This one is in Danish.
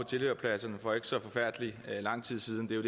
tilhørerpladserne for ikke så forfærdelig lang tid siden det